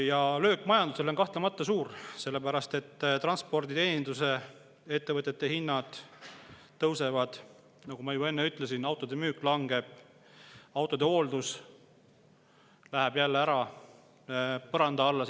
Ja löök majandusele on kahtlemata suur, sellepärast et transpordi‑ ja teenindusettevõtete hinnad tõusevad, nagu ma juba enne ütlesin, autode müük langeb, autode hooldus läheb jälle sisuliselt põranda alla.